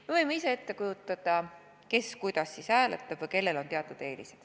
Me võime ette kujutada, kes kuidas siis hääletab või kellel on teatud eelis.